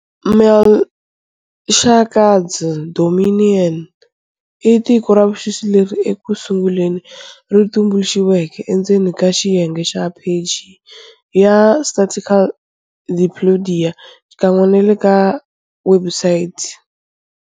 Melchizedek's Domain i tiko ra vuxisi leri ekusunguleni ri tumbuluxiweke endzeni ka xiyenge xa pheji ya satirical Desciclopédia, xikan'we na le ka webusayiti ya.